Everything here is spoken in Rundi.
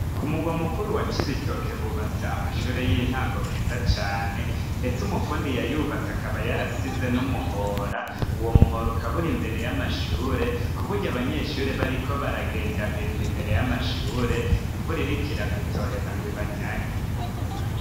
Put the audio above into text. Ku murwa mukuru wa Cibitoki hubatse amashure y'intango meza cane, ndetse umufundi yayubatse akaba yarasize n'umuhora. Uwo muhora ukaba uri imbere y'amashure k'uburyo abanyeshure bariko baragendagenda imbere y'amashure, imvura iriko iragwa itoheza ngo ibanyagire.